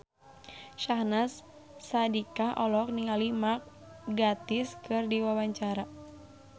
Syahnaz Sadiqah olohok ningali Mark Gatiss keur diwawancara